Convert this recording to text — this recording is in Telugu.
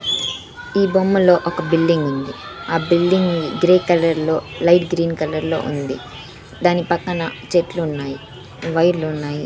ఈ బొమ్మలో ఒక బిల్డింగ్ ఉంది ఆ బిల్డింగ్ గ్రే కలర్ లో లైట్ గ్రీన్ కలర్ లో ఉంది దాని పక్కన చెట్లున్నాయి వైర్లున్నాయి .